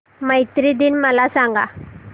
मैत्री दिन मला सांगा